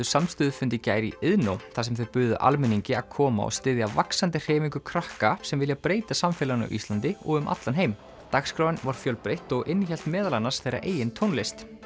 samstöðufund í gær í Iðnó þar sem þau buðu almenningi að koma og styðja vaxandi hreyfingu krakka sem vilja breyta samfélaginu á Íslandi og um allan heim dagskráin var fjölbreytt og innihélt meðal annars þeirra eigin tónlist